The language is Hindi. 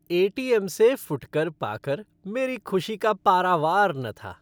ए.टी.एम. से फुटकर पा कर मेरी खुशी का पारावार न था।